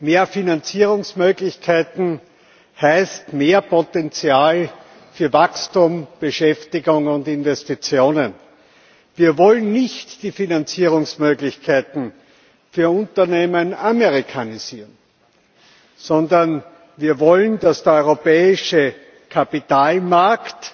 Mehr Finanzierungsmöglichkeiten heißt mehr Potenzial für Wachstum, Beschäftigung und Investitionen. Wir wollen nicht die Finanzierungsmöglichkeiten für Unternehmen amerikanisieren, sondern wir wollen, dass der europäische Kapitalmarkt